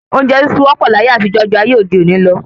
Oúnjẹ sísun wọ́ pọ̀ láyé àtijọ́ ju ayé òde òní lọ